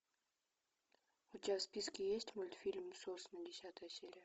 у тебя в списке есть мультфильм сосны десятая серия